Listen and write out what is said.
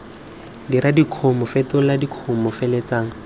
dira dikumo fetola dikumo feleletsa